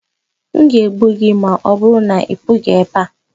N ga egbu gi, ma ọbụrụ na-I pughi ebea.